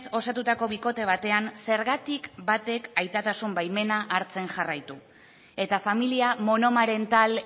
osatutako bikote batean zergatik batek aitatasun baimena hartzen jarraitu eta familia monomarental